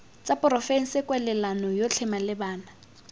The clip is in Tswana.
tsa porofense kwalelano yotlhe malebana